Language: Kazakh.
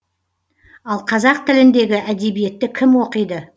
ал қазақ тіліндегі әдебиетті кім оқиды